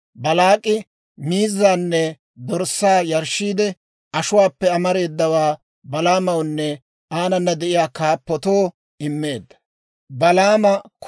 Baalaak'i miizzaanne dorssaa yarshshiide, ashuwaappe amareedawaa Balaamawunne aanana de'iyaa kaappatoo immeedda.